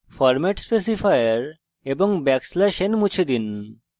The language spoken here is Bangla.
ফরম্যাট specifier এবং \n মুছে দিন